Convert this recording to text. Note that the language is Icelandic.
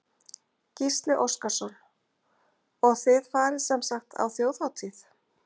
Gísli Óskarsson: Og þið farið sem sagt á Þjóðhátíð?